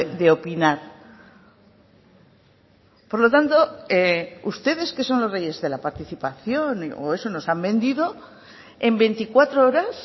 de opinar por lo tanto ustedes que son los reyes de la participación o eso nos han vendido en veinticuatro horas